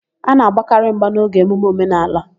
A na-agbakarị mgba n'oge emume omenaala.